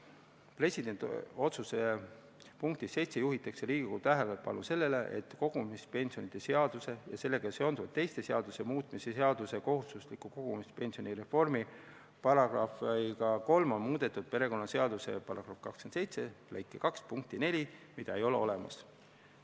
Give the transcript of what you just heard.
Presidendi otsuse punktis 7 juhitakse Riigikogu tähelepanu sellele, et kogumispensionide seaduse ja sellega seonduvalt teiste seaduste muutmise seaduse §-ga 3 on muudetud perekonnaseaduse § 27 lõike 2 punkti 4, mida ei ole olemas.